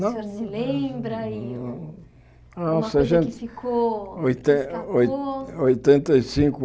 Não O senhor se lembra e uma coisa que ficou, que escapou. Oitenta oitenta e cinco